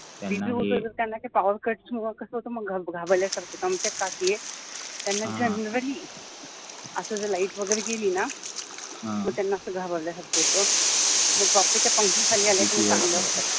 त्यांना powercut मुळे कसा होता मग त्यांना घाबरल्यासारखा होता आमच्या काकी आहेत त्यांना असा generally जर light वैगरे गेली तर त्यांना असा मग घाबरल्यासारखा होता मग वापस त्या पंख्याखाली आल्या का मग चांगले होतात.